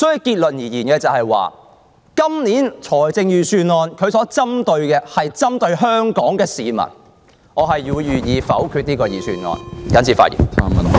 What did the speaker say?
結論而言，本年預算案所針對的是香港市民，我會否決這份預算案，謹此發言。